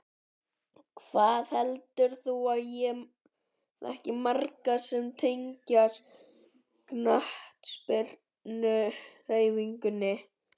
Hvað heldur þú að ég þekki marga sem tengjast knattspyrnuhreyfingunni?